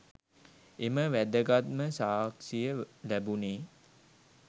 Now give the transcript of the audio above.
එම වැදගත්ම සාක්ෂිය ලැබුණේ